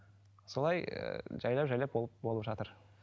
солай ы жайлап жайлап болып болып жатыр